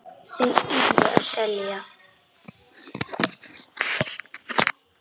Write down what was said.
Þeir URÐU að selja.